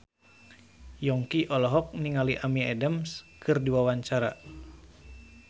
Yongki olohok ningali Amy Adams keur diwawancara